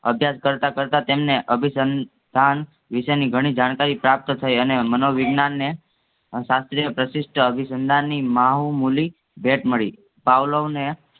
અભ્યાસ કરતાં કરતાં તેમને અભિસંન્થાન વિષયની ઘણી જાણકારી પ્રાપ્ત થઈ અને મનોવિજ્ઞાનને શાસ્ત્રીય પ્રશિસ્ત અભિસંધાન ની મહોમઉલી મળી. પાવલોને